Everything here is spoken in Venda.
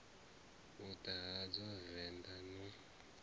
u ḓala hadzo venḓa na